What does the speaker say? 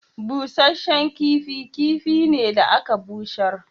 Busashen kifi kifi ne da aka bushar.